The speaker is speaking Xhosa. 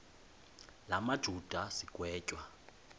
la majuda sigwetywa